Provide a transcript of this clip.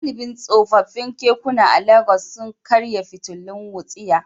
Galibin tsofaffin kekuna a Legas sun karya fitilun wutsiya.